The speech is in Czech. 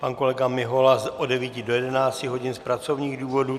Pan kolega Mihola od 9 do 11 hodin z pracovních důvodů.